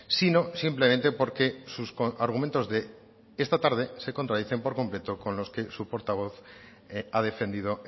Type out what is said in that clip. sino simplemente porque sus argumentos de esta tarde se contradicen por completo con los que su portavoz ha defendido